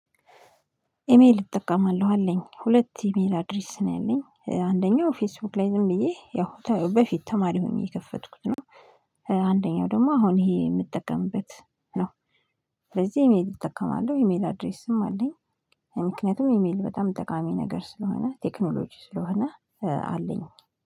ኢሜል እጠቀማለሁ አለኝ ሁለት ኢሜል አድሬስ ነው ያለኝ አንደኛው ፌስቡክ ላይ ዝም ብዬ ያው በፊት ተማሪ ሆኜ የፈትኩት ነው አንደኛው ደግሞ አሁን ይሄ የምጠቀምበት ነው፤ ስለዘህ ኢሜል እጠቀማለሁ ኢሜል አድሬስም አለኝ። ምክንያቱም ኢሜል በጣም ጠቃሚ ነገር ስለሆነ ቴክኖሎጂ ስለሆነ አለኝ